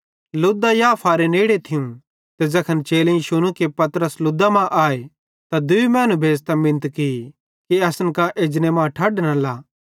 लुद्दा याफारे नेड़े थियूं ते ज़ैखन चेलेईं शुनू कि पतरस लुद्दा मां आए त दूई मैनू भेज़तां मिनत की कि असन कां एजने मां ठढ न ला